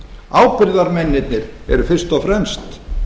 ábyrgðarmennirnir eru fyrst og fremst